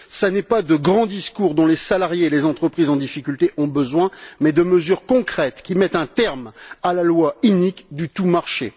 Ce n'est pas de grands discours dont les salariés et les entreprises en difficulté ont besoin, mais de mesures concrètes qui mettent un terme à la loi inique du tout marché.